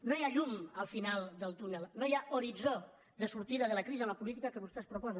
no hi ha llum al final del túnel no hi ha horitzó de sortida de la crisi amb la política que vostès proposen